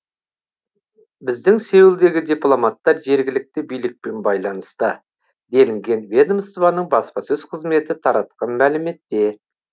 біздің сеулдегі дипломаттар жергілікті билікпен байланыста делінген ведомствоның баспасөз қызметі таратқан мәліметте